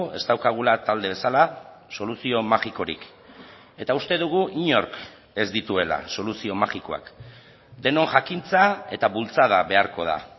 ez daukagula talde bezala soluzio magikorik eta uste dugu inork ez dituela soluzio magikoak denon jakintza eta bultzada beharko da